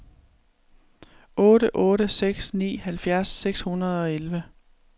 otte otte seks ni halvfjerds seks hundrede og elleve